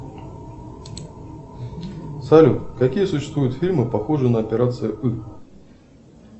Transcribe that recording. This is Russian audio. салют какие существуют фильмы похожие на операция ы